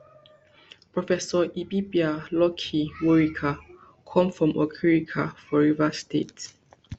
professor ibibia lucky worika come from okirika for rivers state